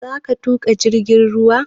Za ka tuƙa jirgin ruwan?